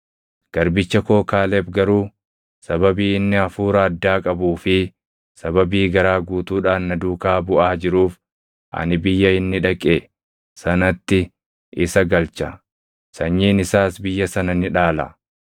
Garbicha koo Kaaleb garuu sababii inni hafuura addaa qabuu fi sababii garaa guutuudhaan na duukaa buʼaa jiruuf, ani biyya inni dhaqe sanatti isa galcha; sanyiin isaas biyya sana ni dhaala.